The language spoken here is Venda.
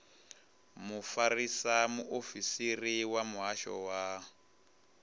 mufarisa muofisiri wa muhasho wa